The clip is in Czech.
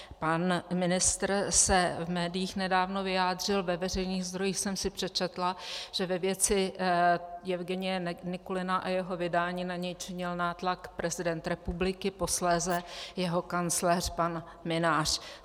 Pan ministr se v médiích nedávno vyjádřil, ve veřejných zdrojích jsem si přečetla, že ve věci Jevgenije Nikulina a jeho vydání na něj činil nátlak prezident republiky, posléze jeho kancléř pan Mynář.